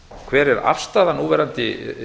hver er afstaða núverandi